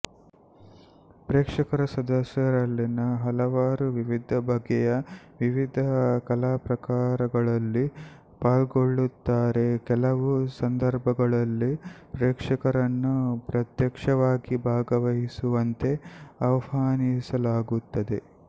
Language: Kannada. ಪ್ರೇಕ್ಷಕರ ಸದಸ್ಯರಲ್ಲಿನ ಹಲವರು ವಿವಿಧ ಬಗೆಯ ವಿವಿಧ ಕಲಾಪ್ರಕಾರಗಳಲ್ಲಿ ಪಾಲ್ಗೊಳ್ಳುತ್ತಾರೆಕೆಲವು ಸಂದರ್ಭಗಳಲ್ಲಿ ಪ್ರೇಕ್ಷಕರನ್ನು ಪ್ರತ್ಯಕ್ಷವಾಗಿ ಭಾಗವಹಿಸುವಂತೆ ಆವ್ಹಾನಿಸಲಾಗುತ್ತದೆ